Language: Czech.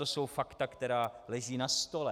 To jsou fakta, která leží na stole.